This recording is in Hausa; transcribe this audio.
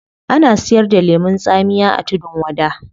Ana siyar da lemun tsamiya a tudun wada